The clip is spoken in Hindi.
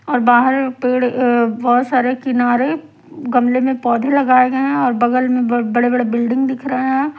और बाहर पेड़ अह बहुत सारे किनारे गमले में पौधे लगाए गए हैं और बगल में ब बड़े बड़े बिल्डिंग दिख रहे हैं।